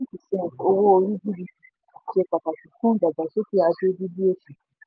fifteen percent owó orí gdp ṣe pàtàkì fún ìdàgbàsókè ajé dídín òṣì